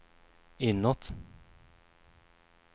inåt